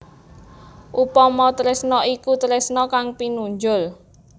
Upama tresna iku tresna kang pinunjul